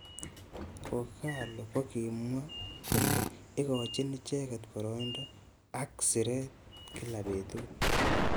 K ogalo kokimwa kole ikochin icheket boroindo.ak siret kila betut.